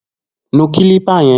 Nu kílípà yẹn!